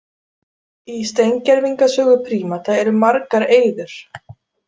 Í steingervingasögu prímata eru margar eyður.